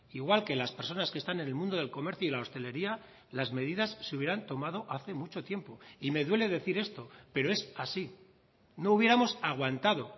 igual que las personas que están en el mundo del comercio y la hostelería las medidas se hubieran tomado hace mucho tiempo y me duele decir esto pero es así no hubiéramos aguantado